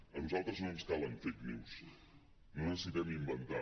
a nosaltres no ens calen fake news no necessitem inventar